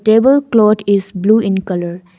Table cloth is blue in colour.